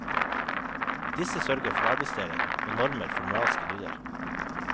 Disse sørger for arbeidsdeling, og normer for moralske dyder.